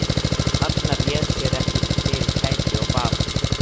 Arnar réð sér ekki fyrir kæti og bað